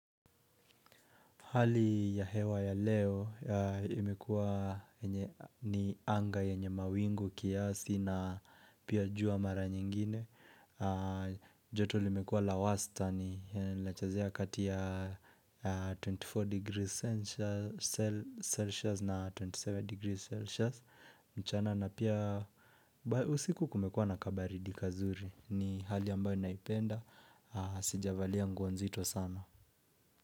Hali ya hewa ya leo imekuwa ni anga yenye mawingu kiasi na pia jua mara nyingine. Joto limekuwa la wastani lnachezea katia 24 degrees Celsius na 27 degrees Celsius. Mchana na pia usiku kumekuwa na kabaridi kazuri. Ni hali yambao naipenda. Sijavalia nguo nzito sana.